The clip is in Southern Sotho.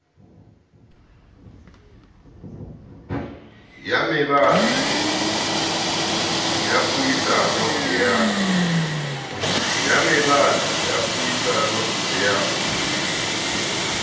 ya mebala ya puisano ya